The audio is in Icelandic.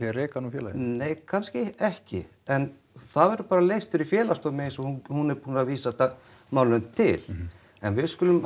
að reka hana úr félaginu nei ka kannski ekki en það verður bara leyst fyrir Félagsdómi eins og hún hún er búin að vísa málinu til en við skulum